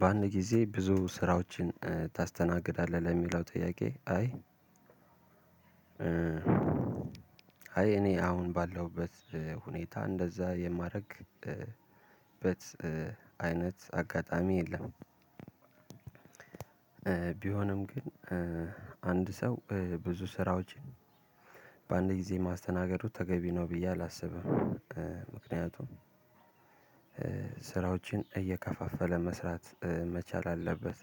በአንድ ጊዜ ብዙ ስራዎችን ታስተናግዳለህ ለሚለው ጥያቄ አይ? አይ እኔ አሁን ባለሁበት ሁኔታ እንደዛ የማደርግበት አይነት አጋጣሚ የለም። ቢሆንም ግን አንድ ሰው ብዙ ስራዎችን በአንድ ጊዜ ማስተናገዱ ተገቢ ነው ብዬ አላስብም። ምክንያቱም ስራዎችን እየከፋፈለ መስራት መቻል አለበት።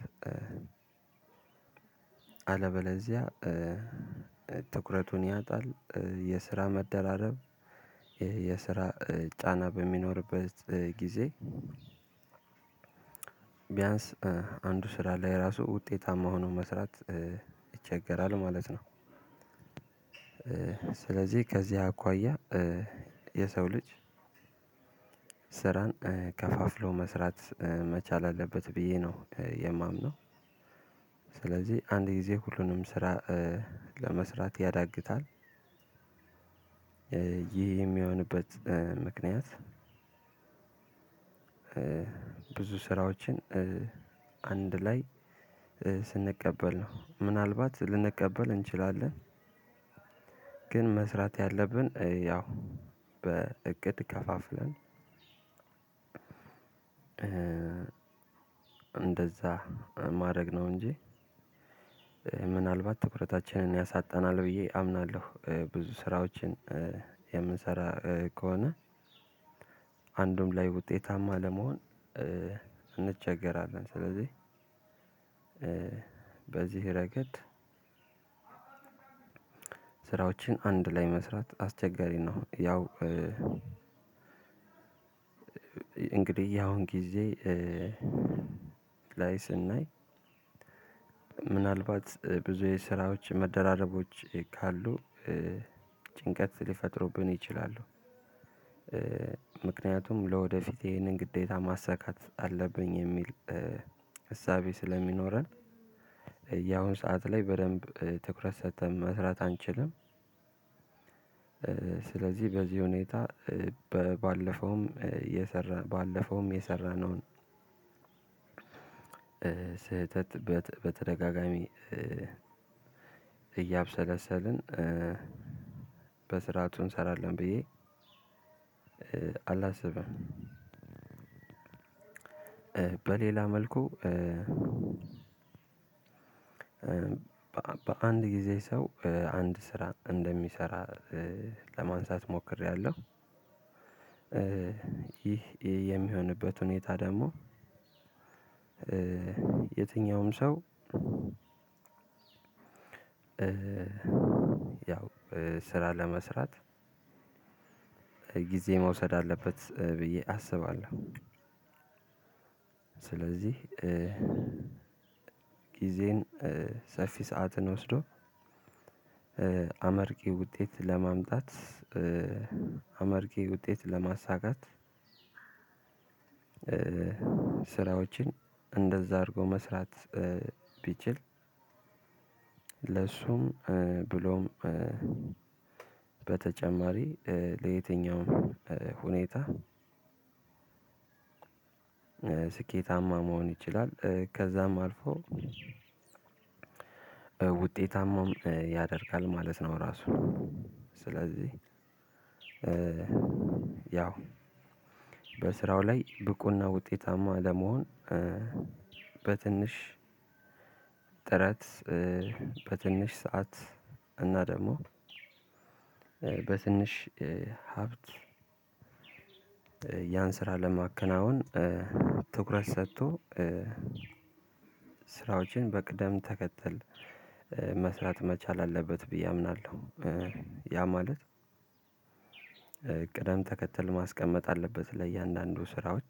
አለበለዚያ ትኩረቱን ያጣል። የስራ መደራደር የስራ ጫና በሚኖርበት ጊዜ ቢያንስ ቢያንስ አንዱ ስራ ላይ ራሱ ውጤታማ ሆኖ መስራት ይቸገራል ማለት ነው። ስለዚህ ከዚህ አኳያ የሰው ልጅ ስራን ከፋፍሎ መስራት መቻል አለበት ብዬ ነው የማምነው። ስለዚህ አንድ ጊዜ ሁሉንም ስራ ለመስራት ያዳግታል። ይህ የሚሆንበት ምክንያት ብዙ ስራዎችን አንድ ላይ ስንቀበል ነው ምናልባት ልንቀበል እንችላለን። ግን መስራት ያለብን ያው በእቅድ ከፋፍለ እንደዛ ማድረግ ነው እንጂ ምናልባት ትኩረታችንን ያሳጣናል ብዬ አምናለሁ። ብዙ ስራዎችን የምንሰራ ከሆነ አንዱም ላይ ውጤታማ ለመሆን እንቸገራለን። ስለዚህ በዚህ ረገድ ስራወችን አንድ ላይ መስራት አስቸጋሪ ነው። ያው እ እንግዲህ ያሁን ጊዜ ላይ ስናይ ምናልባት ብዙ የስራዎች መደራረቦች ካሉ ጭንቀት ሊፈጥሩብን ይችላሉ። ምክንያቱም ለወደፊት ይሄንን ግዴታ ማሳካት አለብኝ የሚል እሳቤ ስለሚኖረን ያሁን ሰዓት ላይ በደንብ ትኩረት ሰጥተን መስራት አንችልም። ስለዚህ በዚህ ሁኔታ በባለፈውም የሰራ ባለፈውም የሰራነውን ስህተት በተደጋጋሚ እያብሰለሰልን በስርዓቱ እንሰራለን ብየ አላስብም። በሌላ መልኩ በአንድ ጊዜ ሰው አንድ ስራ እንደሚሰራ ለማንሳት ሞክሬያለሁ። ይህ የሚሆንበት ሁኔታ ደግሞ የትኛውም ሰው ያው ስራ ለመስራት ጊዜ መውሰድ አለበት ብዬ አስባለሁ። ስለዚህ ጊዜን ሰፊ ሰዓትን ወስዶ አመርቄ ውጤት ለማምጣት አመርቄ ውጤት ለማሳካት። ስራዎችን እንደዛ አድርጎ መስራት ቢችል ለእሱም ብሎም በተጨማሪ ለየትኛውም ሁኔታ ስኬታማ መሆን ይችላል ከዛም አልፎ ውጤታማም ያደርጋል ማለት ነው። እራሱ ስለዚህ ያው በስራው ላይ ብቁ እና ውጤታማ ለመሆን በትንሽ ጥረት በትንሽ ስዓት እና ደግሞ በትንሽ ሀብት ያን ስራ ለማከናወን ትኩረት ሰጥቶ ስራዎችን በቅደም ተከተል መስራት መቻል አለበት ብዬ አምናለሁ። ያ ማለት ቅደም ተከተል ማስቀመጥ አለበት ለእያንዳንዱ ስራዎች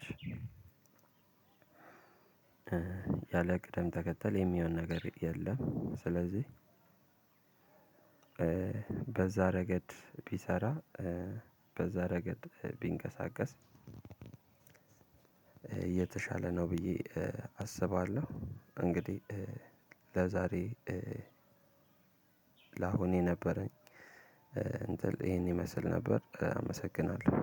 ያለ ቅደም ተከተል የሚሆን ነገር የለም። ስለዚህ በዛ ረገድ ቢሰራ በዛ ረገድ ቢንቀሳቀስ የተሻለ ነው ብዬ አስባለሁ። እንግዲህ ለዛሬ ለአሁን የነበረኝ ይሄን ይመስል ነበር አመሰግናለሁ።